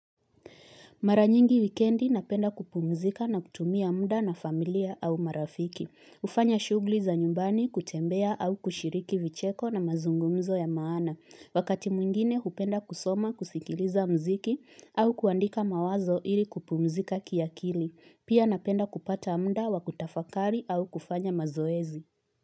Mara nyingi wikendi napenda kupumzika na kutumia muda na familia au marafiki. Ufanya shugli za nyumbani kutembea au kushiriki vicheko na mazungumzo ya maana. Wakati mwingine hupenda kusoma kusikiliza mziki au kuandika mawazo ili kupumzika kiakili. Pia napenda kupata muda wa kutafakari au kufanya mazoezi.